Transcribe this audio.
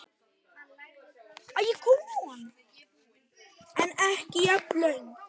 En ekki jafn löng.